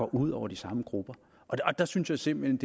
ud over de samme grupper og der synes jeg simpelt